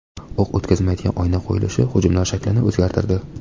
O‘q o‘tkazmaydigan oyna qo‘shilishi hujumlar shaklini o‘zgartirdi.